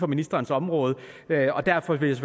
ministerens område derfor vil